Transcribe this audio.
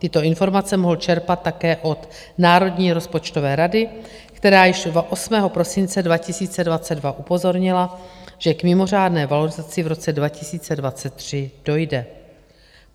Tyto informace mohl čerpat také od Národní rozpočtové rady, která již 8. prosince 2022 upozornila, že k mimořádné valorizaci v roce 2023 dojde.